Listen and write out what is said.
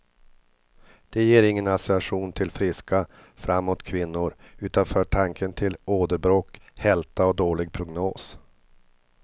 Det ger ingen association till friska, framåt kvinnor, utan för tanken till åderbråck, hälta och dålig prognos.